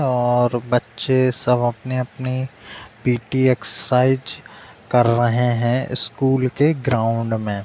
और बच्चे सब अपनी-अपनी पी.टी. एक्सरसाइज कर रहे हैं स्कूल के ग्राउंड में।